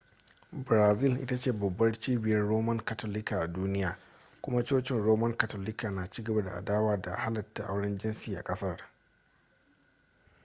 brazil ita ce babbar cibiyar roman katolika a duniya kuma cocin roman katolika na cigaba da adawa da halatta auren jinsi a kasar